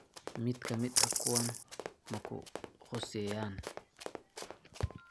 Mid ka mid ah kuwan ma ku khuseeyaan?